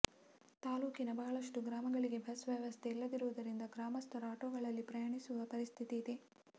ತಾಲೂಕಿನ ಬಹಳಷ್ಟು ಗ್ರಾಮಗಳಿಗೆ ಬಸ್ ವ್ಯವಸ್ಥೆ ಇಲ್ಲದಿರುವುದರಿಂದ ಗ್ರಾಮಸ್ಥರು ಆಟೊಗಳಲ್ಲಿ ಪ್ರಯಾಣಿಸುವ ಪರಿಸ್ಥಿತಿ ಇದೆ